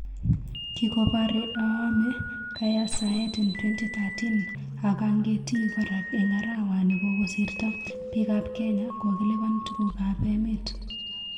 Kikopare aame kayasaet en 2013,ak angetii kora en arawani kokosirto, pik ap kenya kokilipan tuguk ap emt